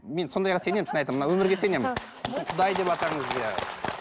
мен сондайға сенемін шын айтамын мына өмірге сенемін